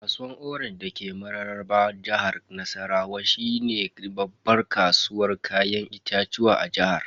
Kasuwar orange dake mararraba jihar Nassarawa shine babban kasuwar Kayan itatuwa a jihar.